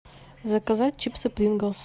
заказать чипсы принглс